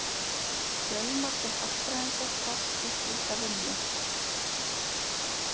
Fjölmargir hagfræðingar fást við slíka vinnu.